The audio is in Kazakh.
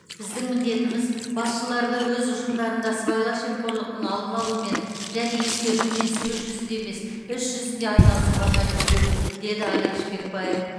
біздің міндетіміз басшыларды өз ұжымдарында сыбайлас жемқорлықтың алдын алумен және ескертумен сөз жүзінде емес іс жүзінде айналысуға мәжбүрлеу деді алик шпекбаев